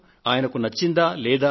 ఆయనకు నచ్చినదీ లేనిదీ